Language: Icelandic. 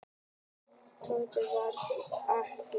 Tóti var mér kær.